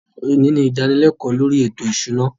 Òní ni ìdánilékòó lórí ètò ìṣúná